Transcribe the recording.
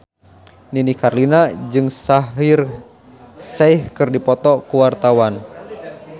Nini Carlina jeung Shaheer Sheikh keur dipoto ku wartawan